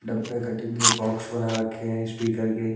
डब्बे कटिंग के बॉक्स बना रखे हैं स्पीकर के।